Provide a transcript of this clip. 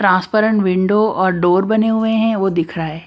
Transparent window और door बने हुए हैं वो दिख रहा है।